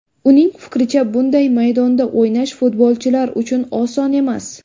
Uning fikricha, bunday maydonda o‘ynash futbolchilar uchun oson emas.